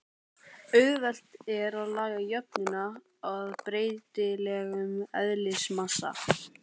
Auðvelt er að laga jöfnuna að breytilegum eðlismassa.